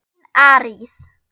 Þín Arís.